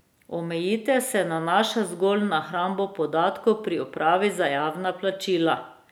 Omejitev se nanaša zgolj na hrambo podatkov pri upravi za javna plačila.